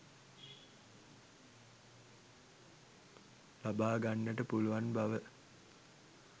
ලබාගන්නට පුළුවන් බව.